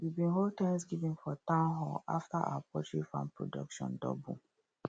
we bin hold thanksgiving for town hall after our poultry farm production double